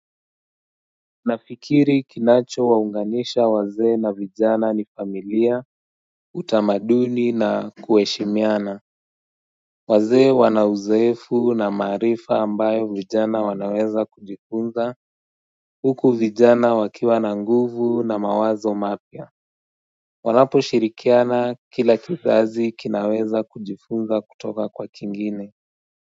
Nafikiri kinacho waunganisha wazee na vijana ni familia utamaduni na kueshimiana Wazee wanauzoefu na maarifa ambayo vijana wanaweza kujifunza huku vijana wakiwa na nguvu na mawazo mapya wanapo shirikiana kila kizazi kinaweza kujifunza kutoka kwa kingine.